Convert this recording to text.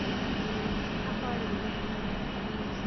опарина